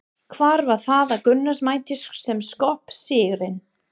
Hvað var það að Gunnars mati sem skóp sigurinn?